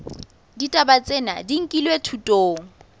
ditaba tsena di nkilwe thutong